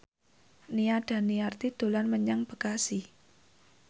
Nia Daniati dolan menyang Bekasi